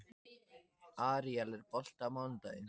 Aríel, er bolti á mánudaginn?